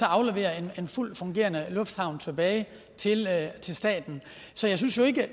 aflevere en fuldt fungerende lufthavn tilbage tilbage til staten så jeg synes jo ikke at